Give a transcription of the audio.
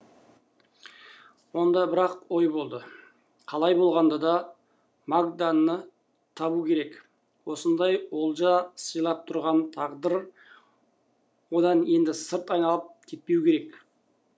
онда бір ақ ой болды қалай болғанда да магданы табу керек осындай олжа сыйлап тұрған тағдыр одан енді сырт айналып кетпеу керек